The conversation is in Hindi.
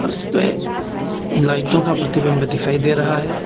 और उसपे लाइटों का प्रतिबिंब दिखाई दे रहा है।